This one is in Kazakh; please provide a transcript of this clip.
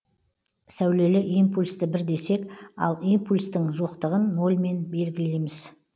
сәулелі импульсті бір десек ал импульстін жоқтыгын нольмен белгілейміз